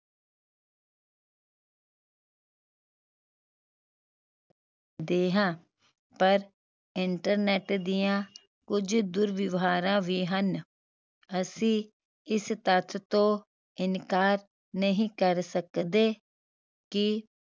ਦੇ ਹਾਂ ਪਰ internet ਦੀਆਂ ਕੁਝ ਦੁਰਵਿਵਹਾਰਾ ਵੀ ਹਨ ਅਸੀਂ ਇਸ ਤੱਥ ਤੋਂ ਇਨਕਾਰ ਨਹੀਂ ਕਰ ਸਕਦੇ ਕਿ